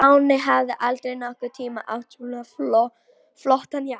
Stjáni hafði aldrei nokkurn tíma átt svona flottan jakka.